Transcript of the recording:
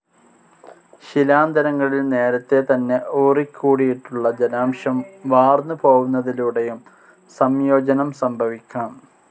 ശിലാന്തരങ്ങളിൽ നേരത്തെതന്നെ ഊറിക്കൂടിയിട്ടുള്ള ജലാംശം വാർന്നുപോവുന്നതിലൂടെയും സംയോജനം സംഭവിക്കാം.